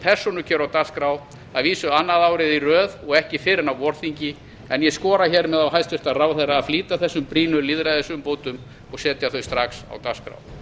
persónukjör á dagskrá að vísu annað árið í röð og ekki fyrr en á vorþingi en dag skora hér með á hæstvirtan ráðherra að flýta þessum brýnu lýðræðisumbótum og setja þau strax á dagskrá